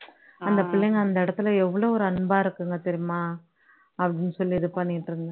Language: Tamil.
அந்த பிள்ளைங்க அந்த இடத்துல எவ்ளோ ஒரு அன்பா இருக்குங்க தெரியுமா அப்படின்னு சொல்லி இது பண்ணிட்டு இருந்தேன்